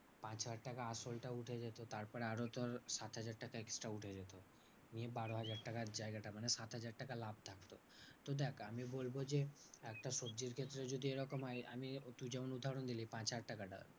পাঁচ হাজার টাকা আসলটা উঠে যেত তারপরে আরো ধর সাত হাজার টাকা extra উঠে যেত নিয়ে বারো হাজার টাকার জায়গাটা। মানে সাত হাজার টাকা লাভ থাকতো। তো দেখ আমি বলবো যে, একটা সবজির ক্ষেত্রে যদি এরকম হয় আমি তুই যেমন উদাহরণ দিলি পাঁচ টাকাটা